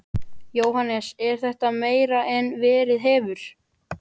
Jóhannes: Er þetta meira en verið hefur?